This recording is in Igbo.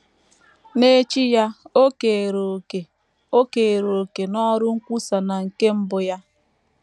N’echi ya, o keere òkè o keere òkè n’ọrụ nkwusa na nke mbụ ya.